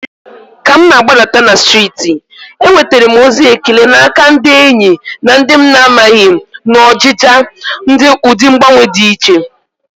Walking down the street, I received compliments from friends and strangers alike, appreciating the stylish change.